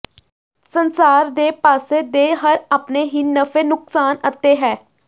ਸੰਸਾਰ ਦੇ ਪਾਸੇ ਦੇ ਹਰ ਆਪਣੇ ਹੀ ਨਫ਼ੇ ਨੁਕਸਾਨ ਅਤੇ ਹੈ